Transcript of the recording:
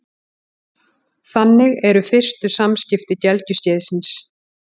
Þannig eru fyrstu samskipti gelgjuskeiðsins.